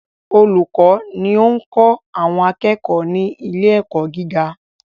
Olùkọ́ ni ó ń kọ́ àwọn akẹ́kọ̀ọ́ ni ilé ẹ̀kọ́ gíga.